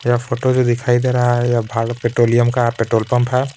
यह फोटो जो दिखाई दे रहा है यह भारत पेट्रोलियम का पेट्रोल पंप है.